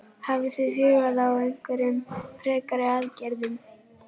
Hafið þið hugað að einhverjum frekari aðgerðum?